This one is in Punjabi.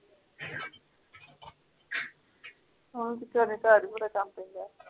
ਹੋਰ ਘਰੇ ਕਾਮ ਲਗਾ